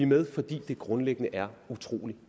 med fordi det grundlæggende er utrolig